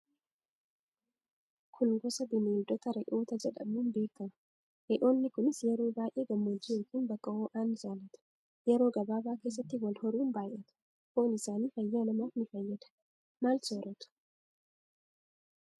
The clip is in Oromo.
Kun gosa bineeldota re'oota jedhamuun beekamu. Re'oonni kunis yeroo baay'ee gammoojji ykn bakka ho'aa ni jaallatu. Yeroo gabaaba keessatti wal horuun baay'atu. Foon isaanii fayya namaaf ni fayyada. Maal sooratu?